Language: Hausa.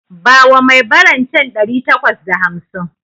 Bawa mai baran can ɗari takwas da hamsin